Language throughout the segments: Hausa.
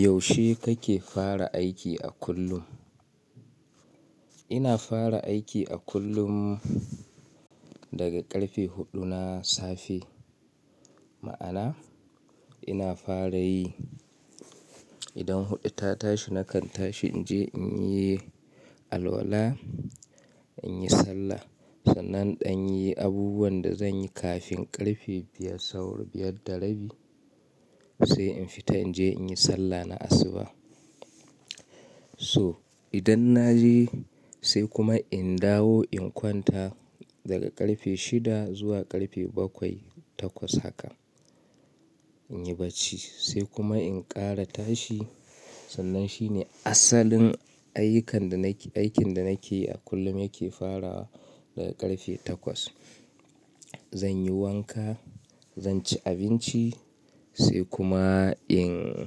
Yaushe kake fara aiki a kullum? Ina fara aiki a kullum daga ƙarfe huɗu na safe. Ma'ana, ina fara yi, idan huɗu ta tashi nakan tashi in je in yi alwala, in yi sallah. Sannan in yi abubuwan da zan yi kafin ƙarfe biyar, saura biyar da rabi sai in fita in je in yi sallah na asuba. So idan na je sai kuma in dawo in kwanta daga ƙarfe shida, zuwa ƙarfe bakwai, takwas haka. In yi bacci, sai kuma in ƙara tashi. Sannan shine asalin ayyukan da na ke, aikin da na ke yi a kullum yake farawa daga ƙarfe takwas. Zan yi wanka, zan ci abinci sai kuma in,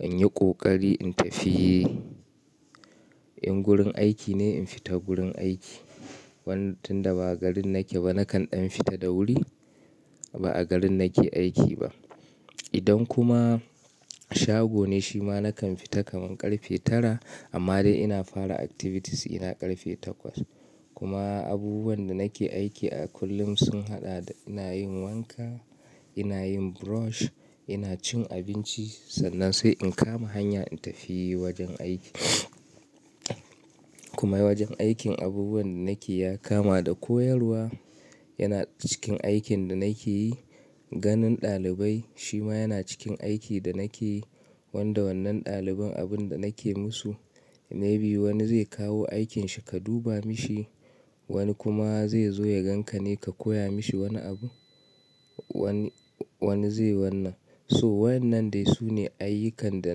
in yi ƙoƙari in tafi. In gurin aiki ne, in fita gurin aiki. Wan, tun da ba'a garin nake ba, nakan in fita da wuri, ba'a garin nake aiki ba. Idan kuma shago ne shi ma, nakan fita kamar ƙarfe tara, amma dai ina fara activities ina ƙarfe takwas. Kuma abubuwan da nake aiki a kullum, sun haɗa da ina yin wanka, ina yin brush, ina cin abinci, sannan sai in kama hanya in tafi wajen aiki. Kuma wajen aikin abubuwan da nake yi, ya kama da koyarwa, yana cikin aikin da nake yi. Ganin ɗalibai, shi ma yana cikin aikin da nake yi. Wanda wannan ɗaliban abin da nake musu, maybe wani zai kawo aikinshi ka duba mishi, wani kuma zai zo ya ganka ne, ka koya mishi wani abu. Wani, wani zai wannan. So wayannan dai su ne ayyukan da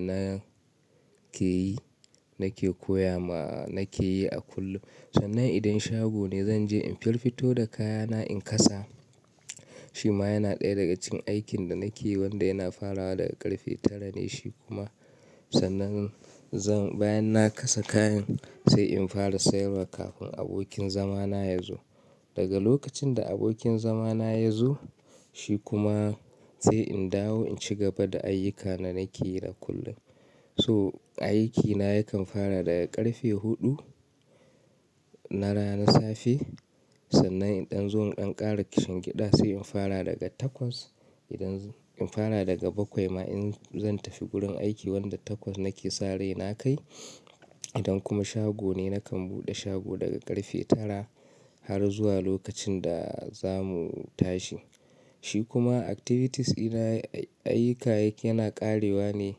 na ke yi, nake koya ma, nake yi a kullum. Sannan idan shago ne zan je in fiffito da kayana in kasa. Shi ma yana ɗaya daga cikin aikin da nake yi wanda yana farawa daga ƙarfe tara ne shi kuma. Sannan zan, bayan na kasa kayan, sai in fara sayarwa kafin abokin zama na ya zo. Daga lokacin da abokin zama na ya zo shi kuma, sai in dawo in ci gaba da ayyuka da nake yi a kullum. So aikina yakan fara daga ƙarfe huɗu, na rana safe. Sannan idan zo in ƙara kishin gida, sai in fara daga takwas. Idan in fara daga bakwai ma in zan tafi gurin aiki, wanda takwas nake sa rai na kai. Idan kuma shago ne nakan buɗe shago daga ƙarfe tara har zuwa lokacin da za mu tashi. Shi kuma activities ɗina, ayyuka yana ƙarewa ne,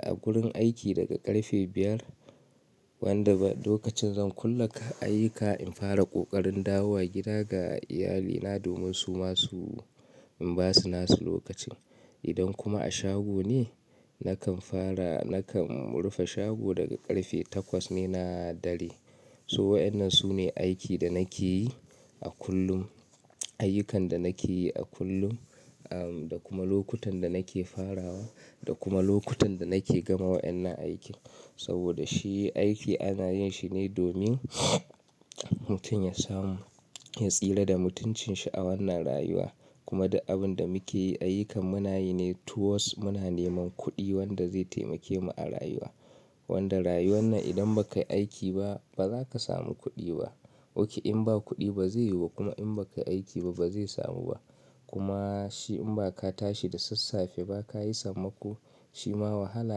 a gurin aiki daga ƙarfe biyar, wanda lokacin zan kulle ayyuka in fara ƙoƙarin dawowa gida ga iyalina, domin su masu in ba su nasu lokacin. Idan kuma a shago ne nakan fara, nakan rufe shago daga ƙarfe takwas ne na dare. So wayannan su ne, aiki da nake yi a kullum. Ayyukan da nake yi a kullum, ah, da kuma lokutan da nake farawa, da kuma lokutan da nake gama waɗannan aiki. Saboda shi aiki ana yin shi ne domin, mutum ya samu, ya tsira da mutuncin shi a wannan rayuwa. Kuma da abin da muke yi, ayyukan muna yi ne towards muna neman kuɗi wanda zai taimake mu a rayuwa. Wanda rayuwan nan, idan ba ka yi aiki ba, ba za ka samu kuɗi ba. Oke in ba kuɗi ba zai yiwu ba, kuma in ba ka yi aiki ba, ba zai samu ba. Kuma shi in ba ka tashi da sassafe ba ka yi sammako shi ma wahala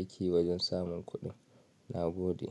ake wajen samun kuɗi. Na gode.